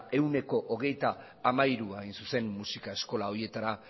ehuneko hogeita hamairua hain zuzen musika eskola horietara